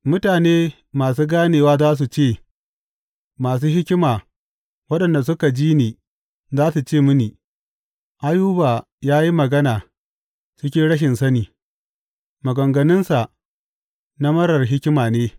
Mutane masu ganewa za su ce, masu hikima waɗanda suka ji ni za su ce mini, Ayuba ya yi magana cikin rashin sani; maganganunsa na marar hikima ne.’